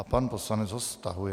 A pan poslanec ho stahuje.